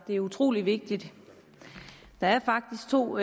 det er utrolig vigtigt der er faktisk to